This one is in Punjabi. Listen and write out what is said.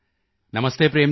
ਨਮਸਤੇ ਪ੍ਰੇਮ ਜੀ